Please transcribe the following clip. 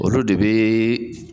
Olu de bɛ